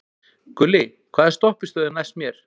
Gulli, hvaða stoppistöð er næst mér?